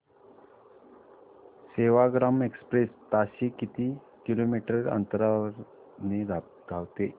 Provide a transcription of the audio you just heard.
Sevagram express ताशी किती kilometre अंतराने धावते